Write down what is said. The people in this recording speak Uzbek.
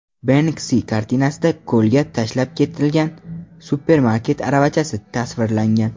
Benksi kartinasida ko‘lga tashlab ketilgan supermarket aravachasi tasvirlangan.